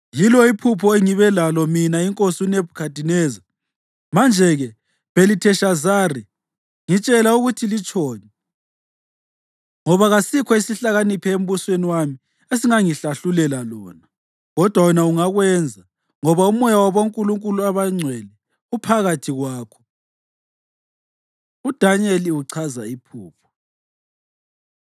Yilo iphupho engibe lalo mina inkosi uNebhukhadineza. Manje-ke Bhelitheshazari, ngitshela ukuthi litshoni, ngoba kasikho isihlakaniphi embusweni wami esingangihlahlulela lona. Kodwa wena ungakwenza, ngoba umoya wabonkulunkulu abangcwele uphakathi kwakho.” UDanyeli Uchaza Iphupho